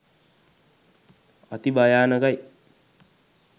අති භයානකයි.